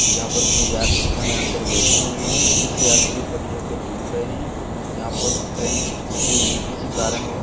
यहां पर कोई यात्रीगण अंदर बैठे हुए हैं कुछ यात्री पटरियों पर घूम रहे हैं यहां पर ट्रेन रुकी हुई है कुछ कारण वछ।